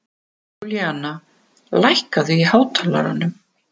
Júlíana, lækkaðu í hátalaranum.